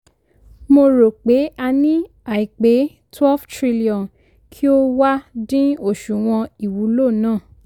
mo rò pé a ní àìpé twelve trilion kí o wá dín òṣùwò̀n īwúlò ná.